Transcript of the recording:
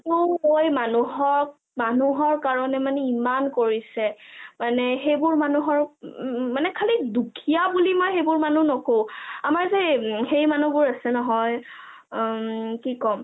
সেইটো কৰি মানুহক মানুহৰ কাৰণে ইমান কৰিছে, মানে সেইবোৰ মানুহক মানে খালী দুখীয়া বুলি সেইবোৰ মানুহ নকও আমাৰ যে সেই মানুহবোৰ আছে নহয় আ কি কম